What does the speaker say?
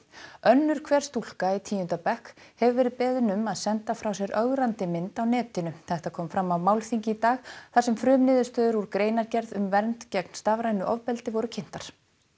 önnur hver stúlka í tíunda bekk hefur verið beðin um að senda frá sér ögrandi mynd á netinu þetta kom fram á málþingi í dag þar sem frumniðurstöður úr greinargerð um vernd gegn stafrænu ofbeldi voru kynntar